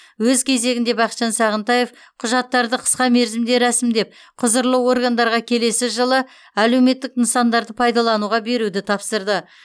өз кезегінде бақытжан сағынтаев құжаттарды қысқа мерзімде рәсімдеп құзырлы органдарға келесі жылы әлеуметтік нысанды пайдалануға беруді тапсырды